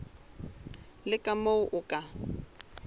le ka moo o ka